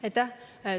Aitäh!